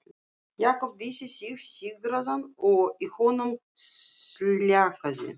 Jakob vissi sig sigraðan og í honum sljákkaði.